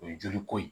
O ye joli ko ye